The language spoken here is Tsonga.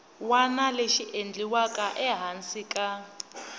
wana lexi endliwaka ehansi ka